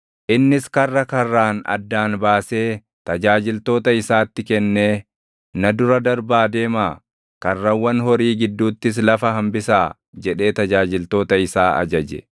Innis karra karraan addaan baasee tajaajiltoota isaatti kennee, “Na dura darbaa deemaa; karrawwan horii gidduuttis lafa hambisaa” jedhee tajaajiltoota isaa ajaje.